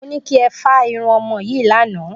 Mo ní kí ẹ fá irun ọmọ yìí lánàá